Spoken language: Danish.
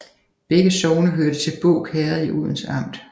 Begge sogne hørte til Båg Herred i Odense Amt